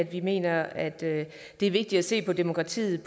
vi mener at det er vigtigt at se på demokratiet